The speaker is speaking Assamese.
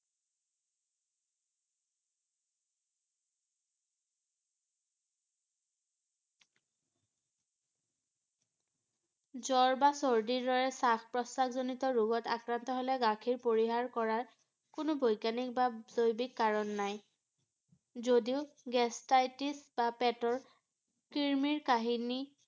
শ্বাস-প্ৰশ্বাস জনিত ৰোগত আক্ৰান্ত হলে গাখীৰ পৰিহাৰ কৰাৰ কোনো বৈজ্ঞানিক বা জৈৱিক কাৰণ নাই ৷ যদিও gastritis বা পেটৰ ক্ৰিমিৰ কাহিনী